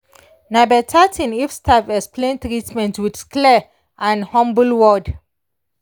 na better thing if staff explain treatment with clear and humble word.